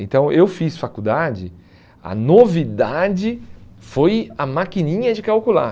Então, eu fiz faculdade, a novidade foi a maquininha de calcular.